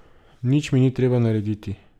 Nič mi ni treba narediti.